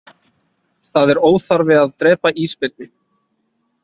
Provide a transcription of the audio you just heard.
Það er óþarfi að drepa ísbirni